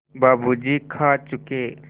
बाबू जी खा चुके